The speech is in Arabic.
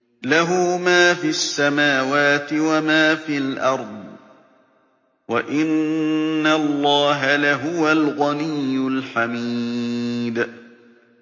لَّهُ مَا فِي السَّمَاوَاتِ وَمَا فِي الْأَرْضِ ۗ وَإِنَّ اللَّهَ لَهُوَ الْغَنِيُّ الْحَمِيدُ